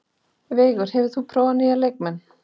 Veigur, hefur þú prófað nýja leikinn?